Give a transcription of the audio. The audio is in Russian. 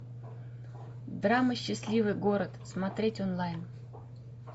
драма счастливый город смотреть онлайн